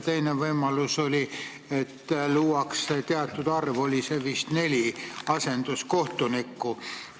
Teine võimalus oli see, et luuakse teatud arv – see oli vist neli – asenduskohtuniku kohta.